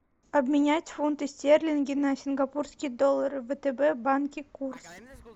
обменять фунты стерлинги на сингапурские доллары в втб банке курс